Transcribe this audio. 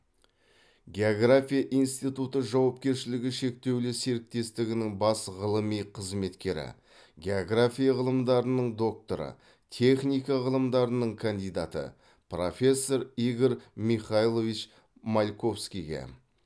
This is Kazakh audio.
география институты жауапкершілігі шектеулі серіктестігінің бас ғылыми қызметкері география ғылымдарының докторы техника ғылымдарының кандидаты профессор игорь михайлович мальковскийге